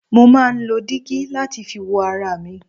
Mo máà ń lo dígí láti fi wo ara mi.